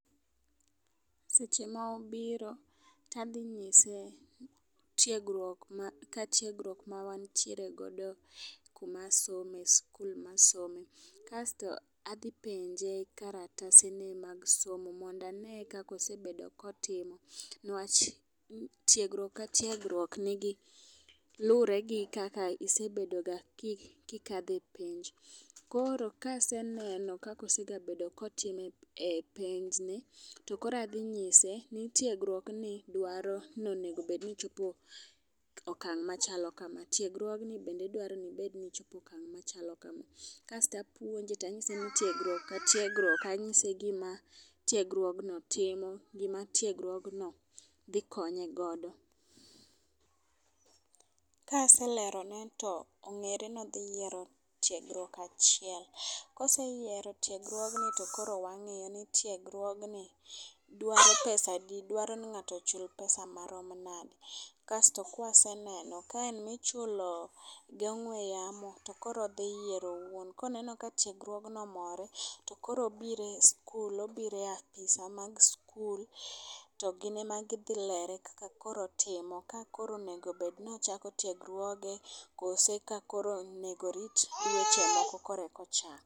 Seche ma obiro tadhi nyise tiegruok ma ka tiegruok mawantiere godo kuma some skul ma asome. Kasto adhi penje karatase ne mag somo mondo ang'e kakosebedo kotimo newach, tiegruok ka tiegruok nigi luwore gi kaka isebedo ga kikadhe penj. Koro kaseneno kako sebedo ga kotime penj ni to koro adhi nyise ni tiegruok ni dwaro ni mondo bedni ichope okang' machalo kama tiegruogni bende dwaro ni chope okang' machalo kama. Kasto apuonje tanyise ni tiegruok ka tiegruok anyise gima tiegruogno timo gima tiegruogno dhi konye godo. Kaselero ne to ong'ere nodhi yiero tiegruok achiel , koseyiereo tiegruogno to koro wang'iyo ni tiegruogni dwaro pesadi dwaro ni ng'ato ochul pesa marom nade kasto kwasenoeno ka michulo gong'we yamo tokoro odhi yiero owuon. Koneno ka tiegruogno omore, to koro obire skul obire apise mag skul to gin ema gidhi lere kaka koro otimo ka koro onego obed ni ochako tegruoge kose ka koro onego orit dweche moko koreko chako.